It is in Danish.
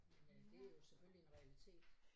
Men øh det jo selvfølgelig en realitet